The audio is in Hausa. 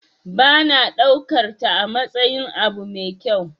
Ba na daukarta amatsayin abu mai kyau.